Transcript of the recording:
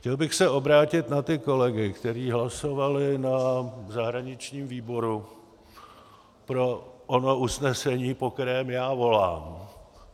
Chtěl bych se obrátit na ty kolegy, kteří hlasovali na zahraničním výboru pro ono usnesení, po kterém já volám.